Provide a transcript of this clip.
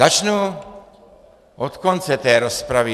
Začnu od konce té rozpravy.